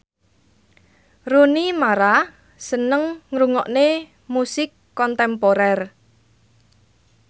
Rooney Mara seneng ngrungokne musik kontemporer